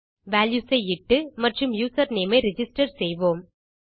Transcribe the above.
values ஐ இட்டு மற்றும் யூசர்நேம் ஐ ரிஜிஸ்டர் செய்வோம்